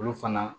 Olu fana